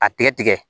A tigɛ tigɛ